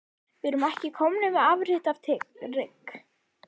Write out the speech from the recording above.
Við erum komnir með afrit af trygg